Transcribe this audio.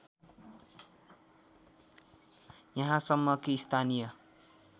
यहाँसम्म कि स्थानीय